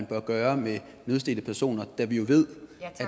bør gøre med nødstedte personer da vi jo ved